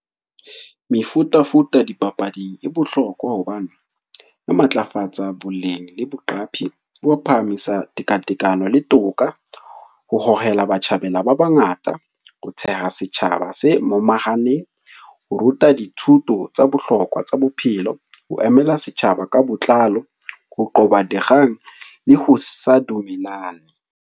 Mefutafuta dipapading e bohlokwa hobane, e matlafatsa boleng le boqapi bo phahamisa tekatekano le toka, ho hohela batjhabela ba bangata, ho theha setjhaba se momahaneng, ho ruta dithuto tsa bohlokwa tsa bophelo, ho emela setjhaba ka botlalo, ho qoba dikgang le ho sa dumellane.